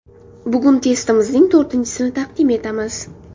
Bugun testimizning to‘rtinchisini taqdim etamiz.